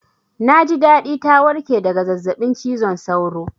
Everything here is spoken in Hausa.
Na ji daɗi ta warƙe daga zazzaɓin cizon sauro